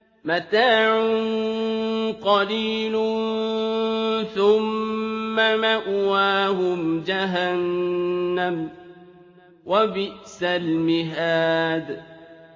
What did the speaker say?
مَتَاعٌ قَلِيلٌ ثُمَّ مَأْوَاهُمْ جَهَنَّمُ ۚ وَبِئْسَ الْمِهَادُ